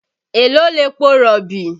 Èló lepo rọ̀bì?